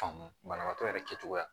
Faamu banabagatɔ yɛrɛ kɛcogoya